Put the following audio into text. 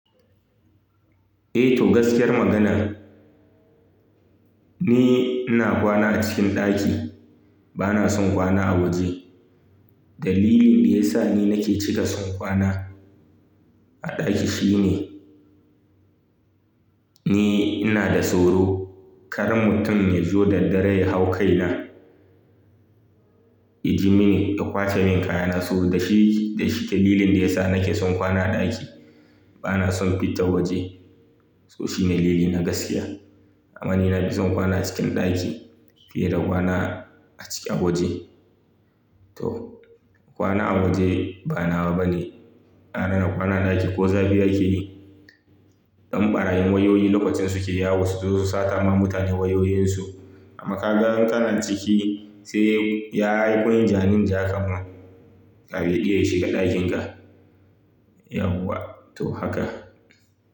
Eh to gaskiyar magana, ni ina kwana a cikin ɗaki. Bana son kwana a waje. Dalilin da ya sa ni nake cika son kwana a ɗaki shine, ni ina da tsoro. Karan mutum ya zo da dare ya hau kaina, ya ji mini, ya kwace min kayana. Tsoro da shi, da shi dalilin da ya sa nake son kwana a ɗaki. Bana son fita waje. To shi ne dalili na gaskiya. Amma ni na fi son kwana a cikin ɗaki fiye da kwana a ciki a waje. To kwana a waje ba nawa bane. Gwara na kwana a ɗaki ko zafi akeyi. Dan ɓarayin wayoyi lokacin suke yawo su zo su sata ma mutane wayoyinsu. Amma kaga kana ciki sai ya aiko yin jani in jaka ma. Kafin ya iya ya shiga dakinka, yauwa toh haka.